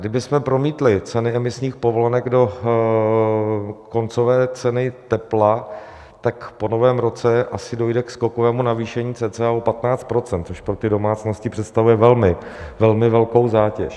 Kdybychom promítli ceny emisních povolenek do koncové ceny tepla, tak po novém roce asi dojde ke skokovému navýšení cca o 15 %, což pro ty domácnosti představuje velmi velkou zátěž.